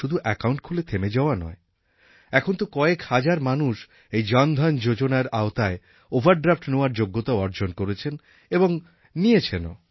শুধু অ্যাকাউন্ট খুলে থেমে যাওয়া নয় এখন তো কয়েক হাজার মানুষ এই জনধন যোজনার আওতায় ওভারড্রাফট্নেওয়ারও যোগ্যতা অর্জন করেছেন এবং নিয়েছেনও